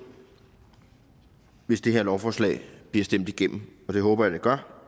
hvis det her lovforslag bliver stemt igennem og det håber jeg det gør